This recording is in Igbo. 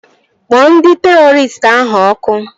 Kpọọ ndị terọristị ahụ ọkụ!